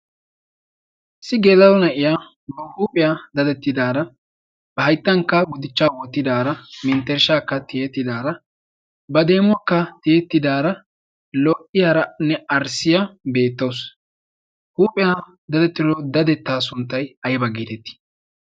issi gela'o na'iya ba huuphiya dadettidaara. ba hayttankk agutichcha wottidara, menttereshakka tiyidara, ba demmuwakka tiyetidaara lo''iyaaranne arsiya beettawus. huuphiyaa daddettido dadetta sunttay aybba getetti?